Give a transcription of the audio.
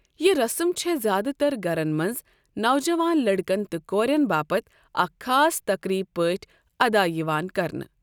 یہِ رسٕم چھےٚ زِیٛادٕ تر گَرَن منٛز نوجوان لڑکن تہٕ کورِٮ۪ن باپتھ اکھ خاص تقریٖب پٲٹھۍ ادا یِوان کرنہٕ۔